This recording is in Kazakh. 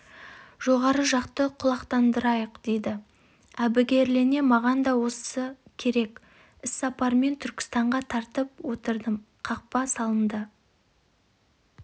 жоғары жақты құлақтандырайық дейді әбігерлене маған да керегі осы іссапармен түркістанға тартып отырдым қапқа салынған